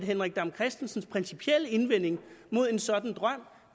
henrik dam kristensens principielle indvending mod en sådan drøm